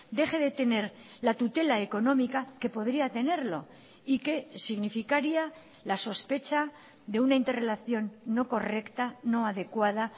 deje de tener la tutela económica que podría tenerlo y que significaría la sospecha de una interrelación no correcta no adecuada